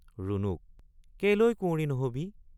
ৰুণুক—কেলৈ কুঁৱৰী নহবি?